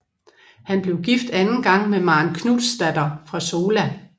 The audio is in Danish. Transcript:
Han blev gift anden gang med Maren Knutsdatter fra Sola